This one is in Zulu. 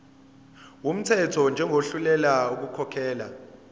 wumthetho njengohluleka ukukhokhela